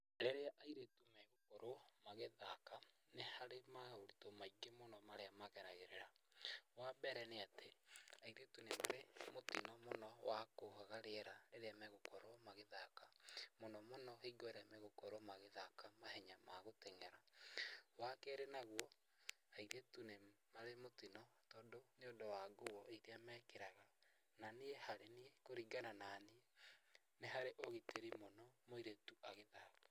Rĩrĩa airĩtu magũkorwo magĩthaka, nĩ harĩ maũritũ maingĩ marĩa mageragĩrĩra, wambere nĩ atĩ airĩtu nĩ marĩ mũtino mũno wa kwaga rĩera rĩrĩa magũkorwo magĩthaka, mũno mũno hingo ĩrĩa magũkorwo magĩthaka mahenya magũteng'era, wa kerĩ naguo, airĩtu nĩ marĩ mũtino tondũ nĩũndũ wa nguo iria mekĩraga, na niĩ harĩ niĩ kũringana naniĩ nĩ harĩ ũgitĩri mũno mũirĩtu agĩthaka.